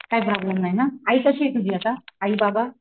काय प्रॉब्लम नाही ना आई कशी आहे तुझी आता? आई बाबा